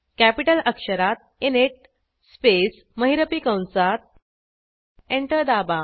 capital अक्षरात init space महिरपी कंसात एंटर दाबा